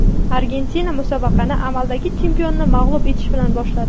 Argentina musobaqani amaldagi chempionni mag‘lub etish bilan boshladi.